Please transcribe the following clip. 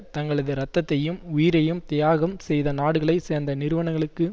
தங்களது ரத்தத்தையும் உயிரையும் தியாகம் செய்த நாடுகளை சேர்ந்த நிறுவனங்களுக்கு